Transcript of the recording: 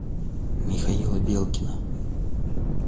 михаила белкина